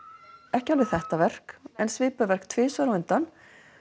ekki alveg þetta verk en svipuð verk tvisvar á undan